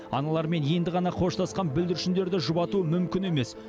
аналарымен енді ғана қоштасқан бүлдіршіндерді жұбату мүмкін емес